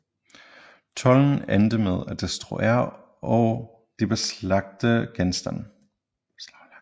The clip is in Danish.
Tolden endte med at destruere de beslaglagte genstande